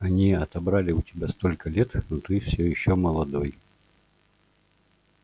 они отобрали у тебя столько лет но ты всё ещё молодой